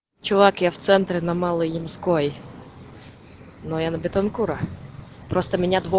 чувак я вцентре на малой ямской но я на бетанкура просто меня две